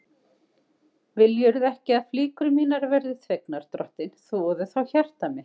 Viljirðu ekki að flíkur mínar verði þvegnar, drottinn, þvoðu þá hjarta mitt.